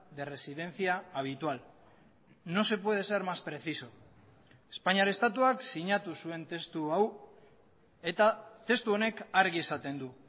de residencia habitual no se puede ser más preciso espainiar estatuak sinatu zuen testu hau eta testu honek argi esaten du